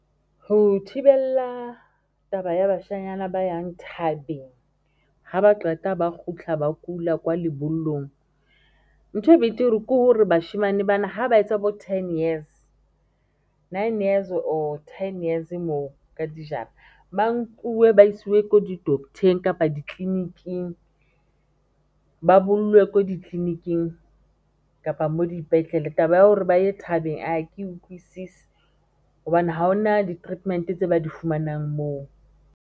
Ho thibela taba ya bashanyana ba yang thabeng, ha ba qeta ba kgutlha ba kula kwa lebollong nthwe e betere ke hore bashemane bana ha ba etsa bo ten years nine years or ten years moo ka dijara ba nkuwe ba isiwe ko di-doctor-eng kapa di-clinic-ing ba bolellwe ko di-clinic-ing kapa mo dipetlele taba ya hore ba ye thabeng a ke utlwisisi hobane ha hona di-treatment-e tse ba di fumanang moo.